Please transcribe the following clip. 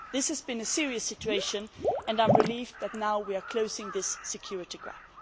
This has been a serious situation and I am relieved that we are now closing this security gap.